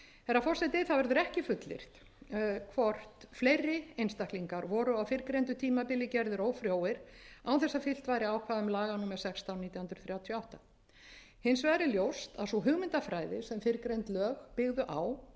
herra forseti ekki verður fullyrt hvort fleiri einstaklingar voru á fyrrgreindu tímabili gerðir ófrjóir án þess að fylgt væri ákvæðum laga númer sextán nítján hundruð þrjátíu og átta hins vegar er ljóst er að sú hugmyndafræði sem fyrrgreind lög byggðu á